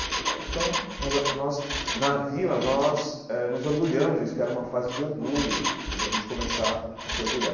Pô então, nós ah nós na vila, nós eh nos orgulhamos disso, que era uma fase de orgulho, de a gente começar a se orgulhar.